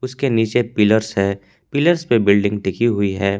उसके नीचे पिलर्स है पिलर्स पे बिल्डिंग टिकी हुई है।